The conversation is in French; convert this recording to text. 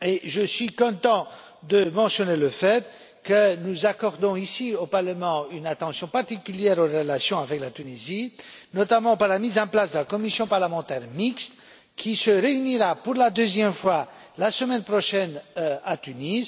Je suis content de mentionner le fait que nous accordons ici au Parlement une attention particulière aux relations avec la Tunisie, notamment par la mise en place de la commission parlementaire mixte qui se réunira pour la deuxième fois la semaine prochaine à Tunis.